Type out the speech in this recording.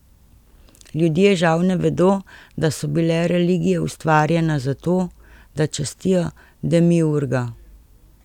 Ljudje žal ne vedo, da so bile religije ustvarjena zato, da častijo demiurga.